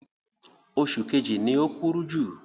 Oṣù kejì ni o kúrú jù.